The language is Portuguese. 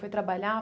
Foi trabalhar?